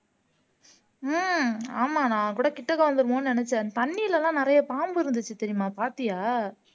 ஆஹ் ஆமா நான் கூட கிட்டக்க வந்திருமோன்னு நினைச்சேன் தண்ணியிலே எல்லாம் நிறைய பாம்பு இருந்துச்சு தெரியுமா பாத்தியா